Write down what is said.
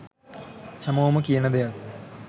හැමෝම කියන දෙයක්.